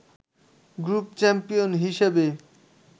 group champion হিসেবে